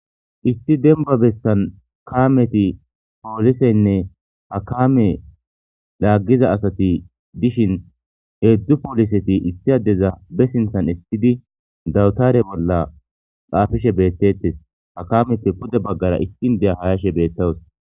issi denba bessan kaameti pooliseynne hakame laaggiza asati dishin heedzdzu pooliseti issi adeza be sinthan essidi dawutare bolla qaafishe beettettes hakameppe pude baggara iskindeya hayashe beettawus